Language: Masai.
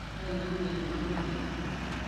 Kainaurie ana goro enye